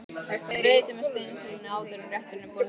Skreytið með steinseljunni áður en rétturinn er borinn fram.